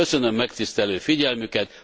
Köszönöm megtisztelő figyelmüket!